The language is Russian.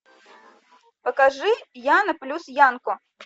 покажи яна плюс янко